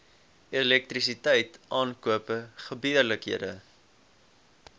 elektrisiteit aankope gebeurlikhede